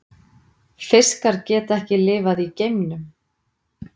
Fiskar geta ekki lifað í geimnum.